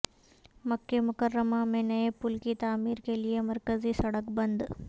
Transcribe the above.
مکہ مکرمہ میں نئے پل کی تعمیر کے لیے مرکزی سڑک بند